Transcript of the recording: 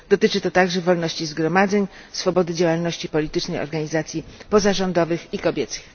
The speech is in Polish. Dotyczy to także wolności zgromadzeń, swobody działalności politycznej organizacji pozarządowych i kobiecych.